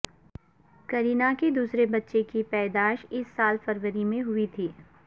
کرینہ کے دوسرے بچے کے پیدائس اس سال فروری میں ہوئی تھی